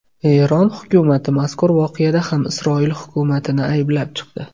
Eron hukumati mazkur voqeada ham Isroil hukumatini ayblab chiqdi.